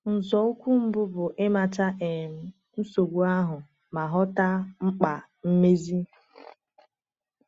Nzọụkwụ mbụ bụ ịmata um nsogbu ahụ ma ghọta mkpa mmezi.